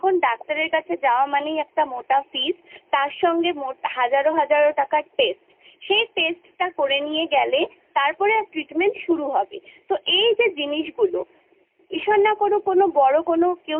"ডাক্তারের কাছে যাওয়া মানেই একটা মোটা fees তার সঙ্গে হাজারো টাকার test সেই test টা করে নিয়ে গেলে